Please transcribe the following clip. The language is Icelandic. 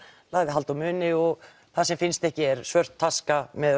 lagði hald á muni og það sem finnst ekki er svört taska með